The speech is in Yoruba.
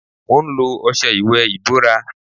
Mo ń lo ọṣẹ ìwè ibóra.